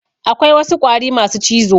Akwai wasu ƙwari masu cizo.